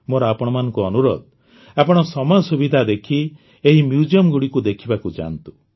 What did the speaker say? ମୋର ଆପଣମାନଙ୍କୁ ଅନୁରୋଧ ଆପଣ ସମୟ ସୁବିଧା ଦେଖି ଏହି Museumଗୁଡ଼ିକୁ ଦେଖିବାକୁ ଯାଆନ୍ତୁ